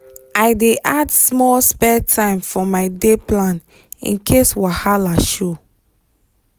i dey add small spare time for my day plan in case wahala show.